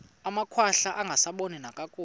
amakhwahla angasaboni nakakuhle